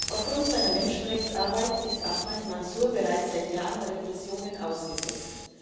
Aufgrund seiner Menschenrechtsarbeit ist Ahmad Mansur bereits seit Jahren Repressionen ausgesetzt.